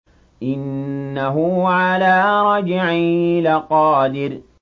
إِنَّهُ عَلَىٰ رَجْعِهِ لَقَادِرٌ